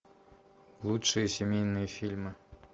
лучшие семейные фильмы